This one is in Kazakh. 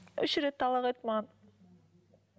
үш рет талақ айтты маған